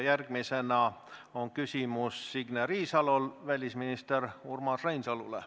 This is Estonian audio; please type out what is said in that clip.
Järgmisena on küsimus Signe Riisalol välisminister Urmas Reinsalule.